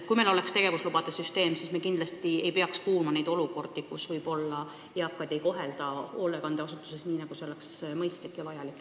Kui meil oleks tegevuslubade süsteem, siis me ei peaks kindlasti kuulma nendest olukordadest, kus eakaid ei kohelda hoolekandeasutuses nii, nagu see oleks mõistlik ja vajalik.